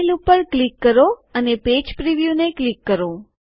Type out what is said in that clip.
file ઉપર click કરો અને પેજ પ્રીવ્યુ ને ક્લિક કરો